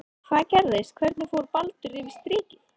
Hvað gerðist, hvernig fór Baldur yfir strikið?